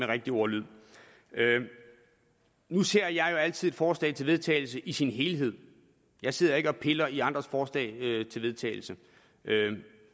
rigtige ordlyd nu ser jeg jo altid et forslag til vedtagelse i sin helhed jeg sidder ikke og piller i andres forslag til vedtagelse